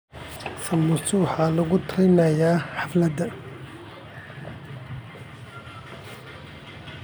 Samosas waxaa lagula talinayaa xafladaha.